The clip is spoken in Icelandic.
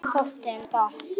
Það þótti henni gott.